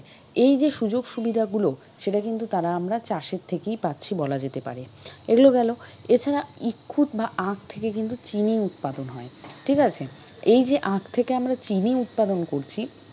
এইযে সুযোগ সুবিধা গুলো সেটা কিন্তু তারা আমরা চাষের থেকেই পাচ্ছি বলা যেতে পারে। এগুলো গেল এছাড়া থেকে ইক্ষু বা আখ থেকে কিন্তু চিনি উৎপাদন হয় ঠিক আছে? এই যে আখ থেকে আমরা চিনি উৎপাদন করছি,